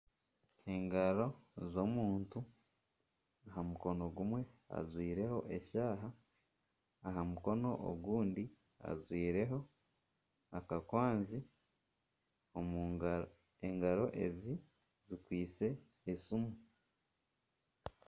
Engaro z'omutu, omukono gumwe ajwireho akashaaha aha mukono ogundi ajwireho akakwanzi, engaro ezi zikwitse esiimu